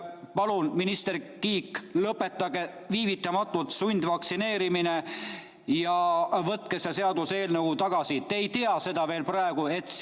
Palun, minister Kiik, lõpetage viivitamatult sundvaktsineerimine ja võtke see seaduseelnõu tagasi!